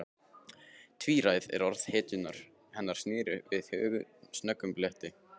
Tvíræð orð hennar snertu við snöggum bletti.